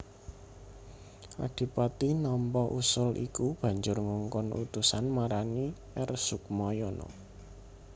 Adipati nampa usul iku banjur ngongkon utusan marani R Sukmayana